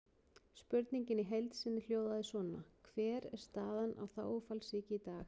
Spurningin í heild sinni hljóðaði svona: Hver er staðan á þágufallssýki í dag?